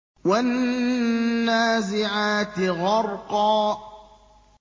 وَالنَّازِعَاتِ غَرْقًا